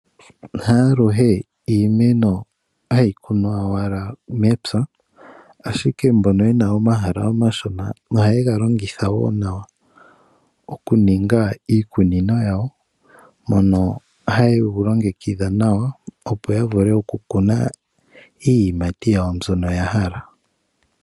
Ha aluhe iimeno hayi kunwa owala mepya, ashike mbono yena omahala omashona ohaye galongitha wo nawa, okuninga iikunino yawo mono haye ga longekitha nawa opo ya vule okukuna iiyimati yawo mbyoka ya hala.